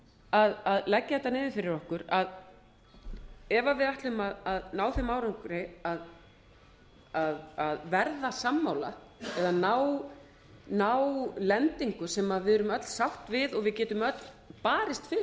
að leggja þetta niður fyrir okkur að ef við ætlum að ná þeim árangri að verða sammála eða ná lendingu sem við erum öll sátt við og við getum öll barist